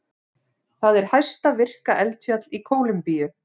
Það er hæsta virka eldfjall í Kólumbíu.